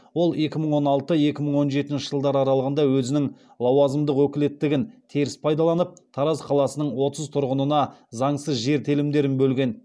ол екі мың он алты екі мың он жетінші жылдар аралығында өзінің лауазымдық өкілеттігін теріс пайдаланып тараз қаласының отыз тұрғынына заңсыз жер телімдерін бөлген